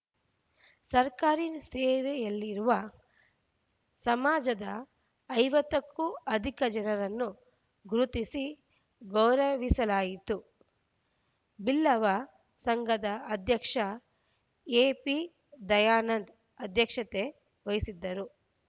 ಸರ್ಕಾರಿ ಸೇವೆಯಲ್ಲಿರುವ ಸಮಾಜದ ಐವತ್ತ ಕ್ಕೂ ಅಧಿಕ ಜನರನ್ನು ಗುರುತಿಸಿ ಗೌರವಿಸಲಾಯಿತು ಬಿಲ್ಲವ ಸಂಘದ ಅಧ್ಯಕ್ಷ ಎಪಿ ದಯಾನಂದ್‌ ಅಧ್ಯಕ್ಷತೆ ವಹಿಸಿದ್ದರು